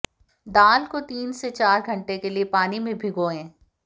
दाल को तीन से चार घंटे के लिए पानी में भिगोएं